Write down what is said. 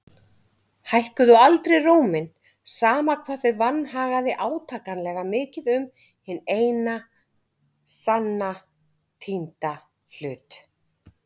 Hækkuðu aldrei róminn, sama hvað þau vanhagaði átakanlega mikið um hinn eina sanna týnda hlut.